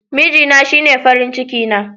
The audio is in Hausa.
Mijina shine farin ciki na.